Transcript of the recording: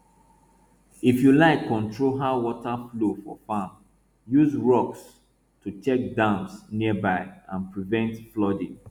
if you like control how water flow for farm use rocks to check dams nearby and prevent flooding